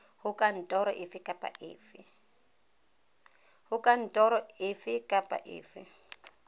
go kantoro efe kapa efe